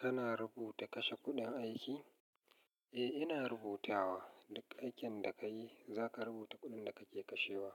Kana rubuta kashe kuɗin aiki? Eh, ina rubutawa. Duk aikin da ka yi za ka rubuta kuɗin da kake kashewa.